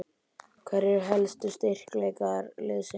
Hverjir eru helstu styrkleikar liðsins?